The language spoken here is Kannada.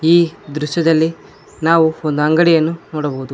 ಈ ದೃಶ್ಯದಲ್ಲಿ ನಾವು ಒಂದು ಅಂಗಡಿಯನ್ನು ನೋಡಬಹುದು.